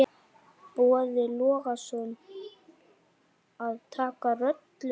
Boði Logason: Að taka rollur?